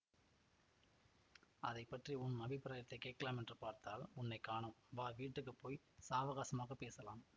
அதை பற்றி உன் அபிப்பிராயத்தைக் கேட்கலாமென்று பார்த்தால் உன்னை காணோம் வா வீட்டுக்கு போய் சாவகாசமாகப் பேசலாம்